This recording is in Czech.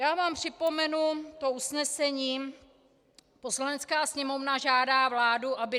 Já vám připomenu to usnesení: Poslanecká sněmovna žádá vládu, aby